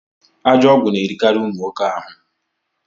Ajọ ọgwụ na erikarị ụmụ nwoke ahụ